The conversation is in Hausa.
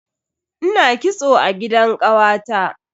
Ina kitso a gidan kawata.